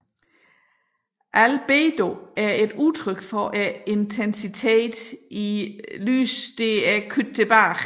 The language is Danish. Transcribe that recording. Albedo er et udtryk for intensiteten i tilbagekastet lys